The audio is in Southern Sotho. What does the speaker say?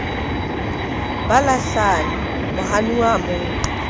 ba lahlane mohanuwa a mo